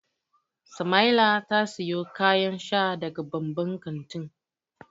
Samaila ta siyo kayan sha daga babban kantin.